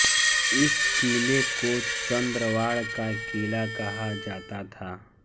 इस किले को चंद्रवाड़ का किला कहा जाता था